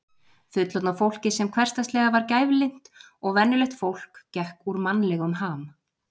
Fullorðna fólkið sem hversdagslega var gæflynt og venjulegt fólk gekk úr mannlegum ham.